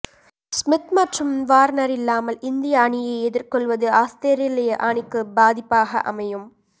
Smith மற்றும் Warner இல்லாமல் இந்திய அணியை எதிர்கொள்வது ஆஸ்திரேலிய அணிக்கு பாதிப்பாக அமையும்